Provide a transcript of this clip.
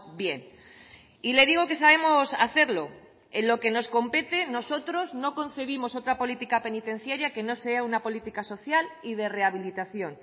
bien y le digo que sabemos hacerlo en lo que nos compete nosotros no concebimos otra política penitenciaria que no sea una política social y de rehabilitación